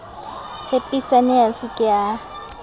tshepisane a se ke a